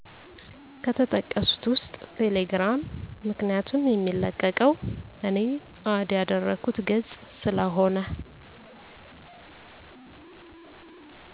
ከተጠቀሡት ውስጥ ቴሌግራም ምክንያቱም የሚለቀቀው እኔ አድ ያደረኩት ገፅ ስለሆነ